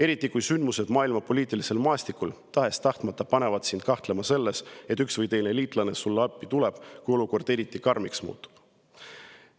Eriti kui sündmused maailma poliitilisel maastikul panevad sind tahes-tahtmata kahtlema selles, et üks või teine liitlane sulle appi tuleb, kui olukord eriti karmiks muutub.